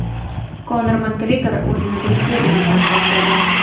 Konor Makgregor o‘zini Bryus Li bilan taqqosladi.